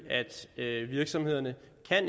er sådan at virksomhederne